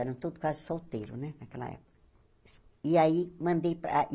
Eram todos quase solteiros né naquela época. E aí mandei para